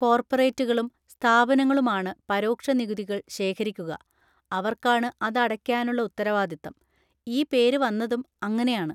കോർപറേറ്റുകളും സ്ഥാപനങ്ങളുമാണ് പരോക്ഷ നികുതികൾ ശേഖരിക്കുക, അവർക്കാണ് അത് അടയ്ക്കാനുള്ള ഉത്തരവാദിത്തം; ഈ പേര് വന്നതും അങ്ങനെയാണ്.